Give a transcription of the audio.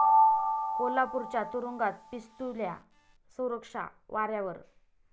कोल्हापूरच्या तुरूंगात 'पिस्तुल्या', सुरक्षा वाऱ्यावर?